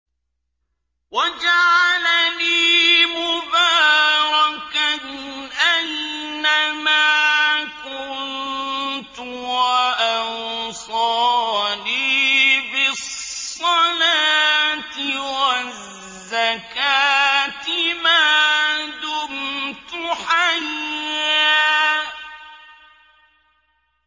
وَجَعَلَنِي مُبَارَكًا أَيْنَ مَا كُنتُ وَأَوْصَانِي بِالصَّلَاةِ وَالزَّكَاةِ مَا دُمْتُ حَيًّا